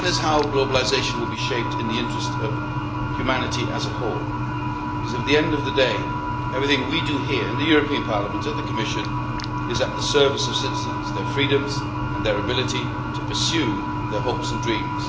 That is how globalisation will be shaped in the interest of humanity as a whole, because, at the end of the day, everything we do here in the European Parliament and in the Commission is at the service of citizens, their freedoms and their ability to pursue their hopes and dreams.